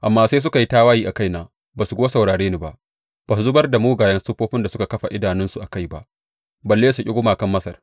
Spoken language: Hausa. Amma sai suka yi tawaye a kaina ba su kuwa saurare ni ba; ba su zubar da mugayen siffofin da suka kafa idanunsu a kai ba, balle su ƙi gumakan Masar.